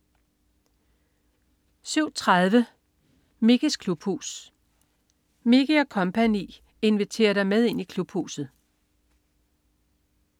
07.30 Mickeys klubhus. Mickey og co. inviterer dig med ind i Klubhuset!